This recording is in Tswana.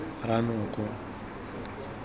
ranoko